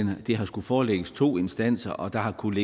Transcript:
har skullet forelægges to instanser og der har kunnet